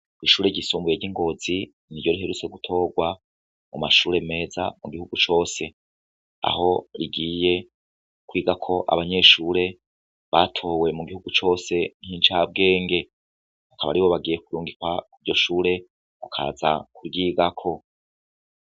Ishure ryisumbuye ry'Ingozi niryo riherutse gutorwa mumashure meza mugihugu cose; aho rigiye kwigako abanyeshure batowe mugihugu cose nk'incabwenge. Akaba aribo bagiye kurungikwa kur'iryoshure bakaza kuryigako.